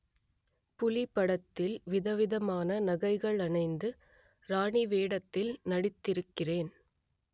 புலி படத்தில் விதவிதமான நகைகள் அணிந்து ராணி வேடத்தில் நடித்திருக்கிறேன்